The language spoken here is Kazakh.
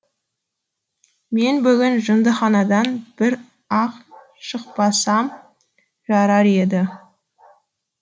мен бүгін жындыханадан бір ақ шықпасам жарар еді